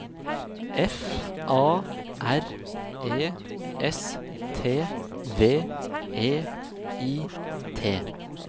F A R E S T V E I T